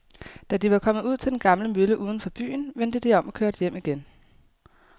Da de var kommet ud til den gamle mølle uden for byen, vendte de om og kørte hjem igen.